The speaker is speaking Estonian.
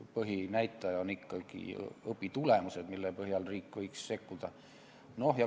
Põhinäitaja on ikkagi õpitulemused, selle põhjal võiks riik sekkuda.